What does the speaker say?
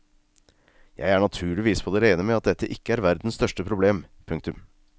Jeg er naturligvis på det rene med at dette ikke er verdens største problem. punktum